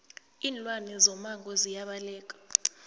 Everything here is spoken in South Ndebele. iinlwane zomango ziya babeka